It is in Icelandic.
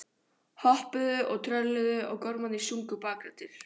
Hoppuðu og trölluðu og gormarnir sungu bakraddir.